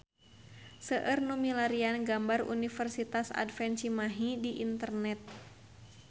Seueur nu milarian gambar Universitas Advent Cimahi di internet